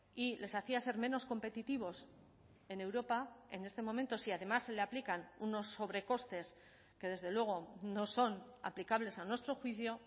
y les hacía ser menos competitivos en europa en este momento si además se le aplican unos sobrecostes que desde luego no son aplicables a nuestro juicio